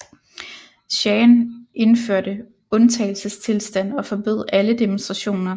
Shahen indførte undtagelsestilstand og forbød alle demonstrationer